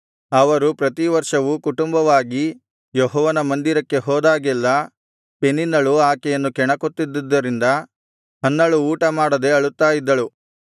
ಅವರು ಪ್ರತಿವರ್ಷವೂ ಕುಟುಂಬವಾಗಿ ಯೆಹೋವನ ಮಂದಿರಕ್ಕೆ ಹೋದಾಗೆಲ್ಲಾ ಪೆನಿನ್ನಳು ಆಕೆಯನ್ನು ಕೆಣಕುತ್ತಿದ್ದುದರಿಂದ ಹನ್ನಳು ಊಟ ಮಾಡದೆ ಅಳುತ್ತಾ ಇದ್ದಳು